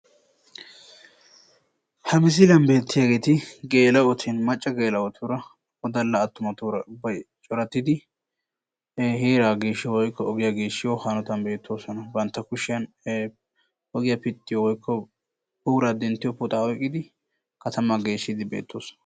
Geela'otti wodallattura ogiya pittiddi bantta kushiyan puxxa oyqqiddi katama geeshiddi de'osonna.